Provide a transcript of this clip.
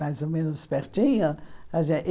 mais ou menos pertinho. A